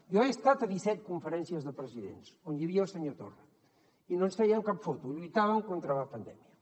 jo he estat a disset conferències de presidents on hi havia el senyor torra i no ens fèiem cap foto lluitàvem contra la pandèmia